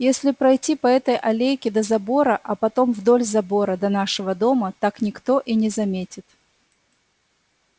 если пройти по этой аллейке до забора а потом вдоль забора до нашего дома так никто и не заметит